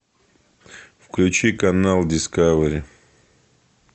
включи канал дискавери